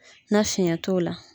Na fiɲɛ t'o la